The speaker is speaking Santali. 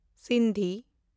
ᱥᱤᱱᱫᱷᱤ